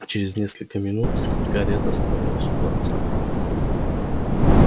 а через несколько минут карета остановилась у дворца